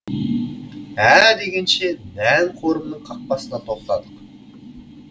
ә дегенше нән қорымның қақпасына тоқтадық